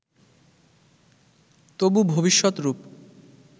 তবু ভবিষ্যৎ রূপ